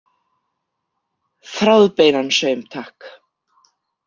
Þráðbeinan saum, takk.